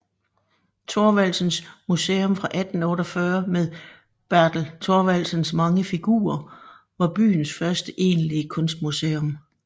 Thorvaldsens Museum fra 1848 med Bertel Thorvaldsens mange figurer var byens første egentlige kunstmuseum